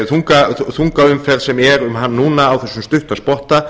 þungaumferð sem er um hann núna á þessum stutta spotta